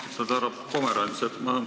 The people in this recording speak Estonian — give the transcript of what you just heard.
Austatud härra Pomerants!